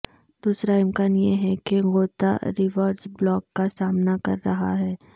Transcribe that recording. دوسرا امکان یہ ہے کہ غوطہ ریورس بلاک کا سامنا کر رہا ہے